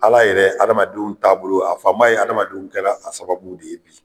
Ala yɛrɛ adamadenw taabolo, a fan ba ye adamadenw kɛra a sababu de ye bi.